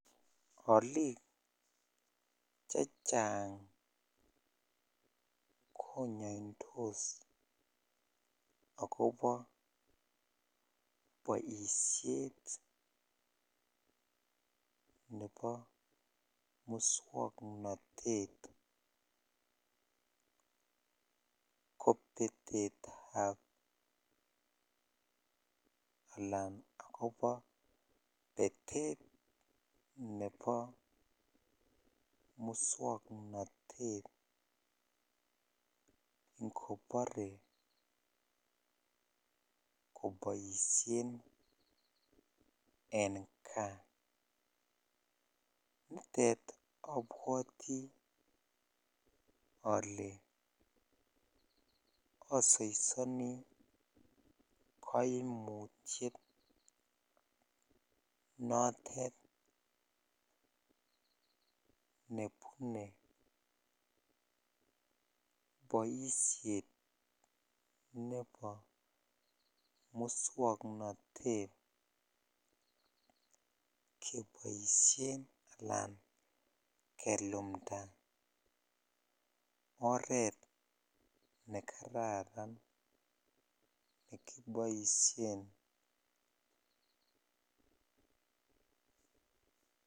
Oliik chechang konyonydos akobo boishet nebo muswoknotet kobetetab alaan akobo betet nebo muswoknotet ngobore koboishen en kaa, nitet abwati olee osoisoni koimutiet notet nebune boishet nebo muswoknotet keboishen alaan kelumnda oreet nekararan nekiboishen.